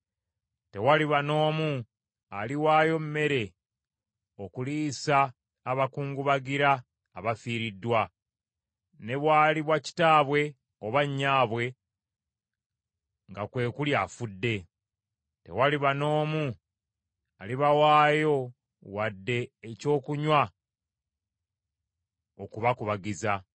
Tewaliba n’omu aliwaayo mmere okuliisa abakungubagira abafiiriddwa, ne bwaliba kitaabwe oba nnyaabwe nga kwe kuli afudde; tewaliba n’omu alibawaayo wadde ekyokunywa okubakubagiza.